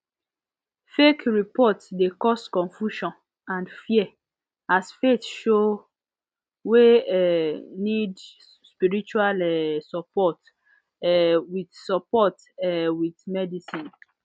fake report de cause confusion and fear as faith show wey um need spirtual um support um with support um with medicine